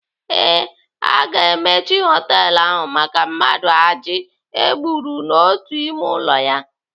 Ee, aga emechi họtelu ahụ maka mmadụ ajị e gburu n'otu ime ụlọ ya.